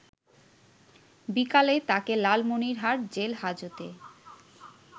বিকালে তাকে লালমনিরহাট জেল হাজতে